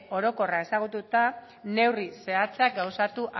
orokorra ezagututa neurri zehatzak gauzatu